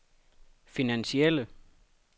finansielle